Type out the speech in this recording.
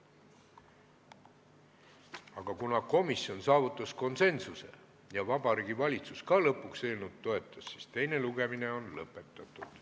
Aga kuna komisjon saavutas konsensuse ja Vabariigi Valitsus ka lõpuks eelnõu toetas, siis on teine lugemine lõpetatud.